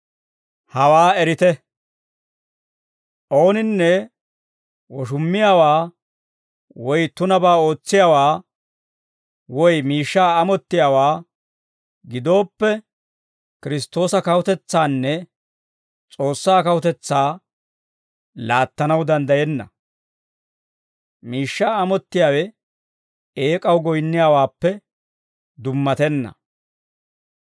Hawaa erite; ooninne woshummiyaawaa woy tunabaa ootsiyaawaa, woy miishshaa amottiyaawaa gidooppe, Kiristtoosa kawutetsaanne S'oossaa kawutetsaa laattanaw danddayenna; miishshaa amottiyaawe eek'aw goyinniyaawaappe dummattenna.